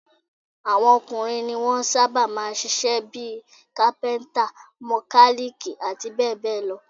Àwọn ọkùnrin ní wọn sábà máa ń ń ṣiṣẹ́ bí i: kápíntà, mọkálíìkì, àti bẹ́ẹ̀ bẹ́ẹ̀ lọ